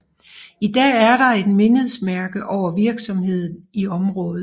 I dag er der et mindesmærke over virksomheden i området